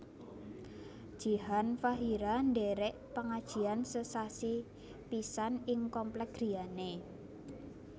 Jihan Fahira ndherek pengajian sesasi pisan ing komplek griyane